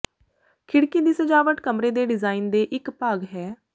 ਖਿੜਕੀ ਦੀ ਸਜਾਵਟ ਕਮਰੇ ਦੇ ਡਿਜ਼ਾਇਨ ਦੇ ਇਕ ਭਾਗ ਹੈ